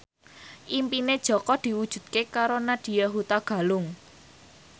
impine Jaka diwujudke karo Nadya Hutagalung